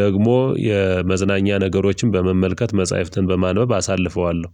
ደግሞ የመዝናኛ ነገሮችን በመመልከት መጽሐፍትን በማንበብ አሳልፈዋለሁ።